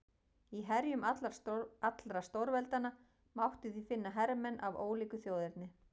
Í herjum allra stórveldanna mátti því finna hermenn af ólíku þjóðerni.